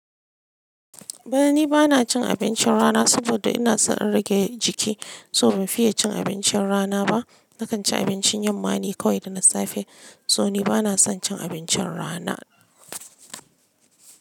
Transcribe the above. To ai ni bana cin abincin rana saboda ina son in rage jiki, so ban fiye cin abincin rana ba. Nakan ci abincin yamma ne kawai da na safe. So ni bana son cin abincin rana.